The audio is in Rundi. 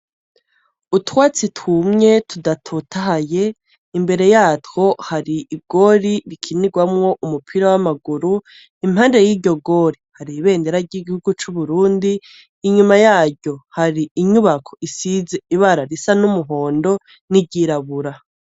Utwatsi twumye tudatotahaye imbere yatwo hari igori rikinirwamwo umupira w'amaguru, impande yiryo gori hari ibendera ry'igihugu c'uburundi, inyuma yaryo har'inyubako isize ibara risa n'umuhondo niryirabura.